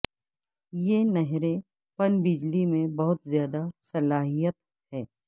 یہ نہریں پن بجلی میں بہت زیادہ صلاحیت ہے